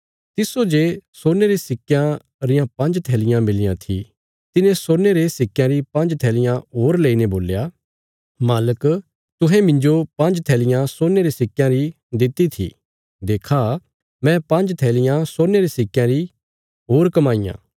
तिस्सो जे सोने रे सिक्कयां रियां पांज्ज थैलियां मिलियां थी तिने सोने रे सिक्कयां री पांज्ज थैलियां होर लेईने बोल्या मालिक तुहें मिन्जो पांज्ज थैलियां सोने रे सिक्कयां री दित्ति थी देक्खा मैं पांज्ज थैलियां सोने रे सिक्कयां रियां होर कमाईयां